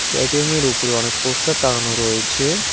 এটিএমের উপর অনেক পোস্টার টাঙানো রয়েছে।